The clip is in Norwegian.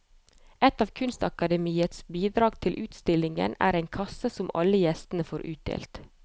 Et av kunstakademiets bidrag til utstillingen er en kasse som alle gjestene får utdelt.